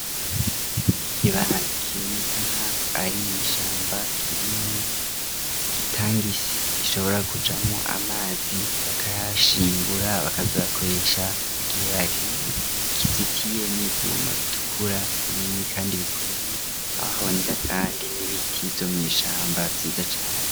Ikibanza kiboneka nkaho ari mw'ishamba, kirimwo itangi ishobora kujamwo amazi bakayashingura bakazobakoresha igihe bakeneye, kizitiye n'ivyuma bitukura binini kandi bikomeye aho ubonera kandi n'ibiti vyo mw'ishamba vyiza cane.